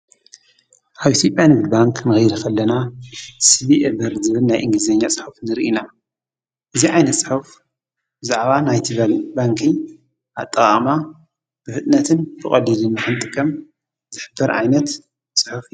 ኣይሲጳ ንብድ ባንክ መገይርኸለና ሢቢኤበር ዝብል ናይ እንግዜኛ ጽሕፍ ንር ኢና እዚ ኣይነ ጽሐፍ ዝዕባ ናይትበል ባንኪ ኣጠቓማ ብህጥነትን ተቖዲድን መሕንጥከም ዘኅበር ኣይነት ጽሕፍ ጅ እዩ።